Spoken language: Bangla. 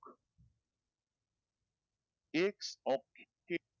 X ox kit